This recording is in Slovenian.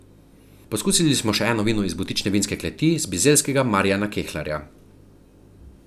Poskusili smo še eno vino iz butične vinske kleti z Bizeljskega Marijana Kelharja.